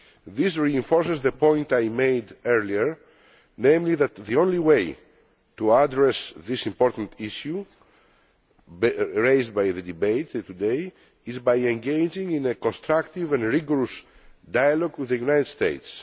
This reinforces the point that I made earlier, namely that the only way to address this important issue raised by the debate today is by engaging in a constructive and rigorous dialogue with the United States.